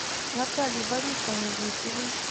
наталье борисовне гусевой